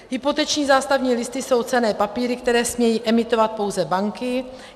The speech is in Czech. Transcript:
Hypoteční zástavní listy jsou cenné papíry, které smějí emitovat pouze banky.